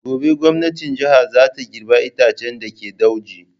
Gobe gwamnatin jiha za ta girbe itaccen da ke dauji.